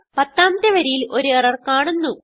പത്താമത്തെ വരിയിൽ ഒരു എറർ കാണുന്നു